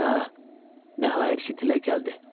Hə, nəhayət ki, dilə gəldi.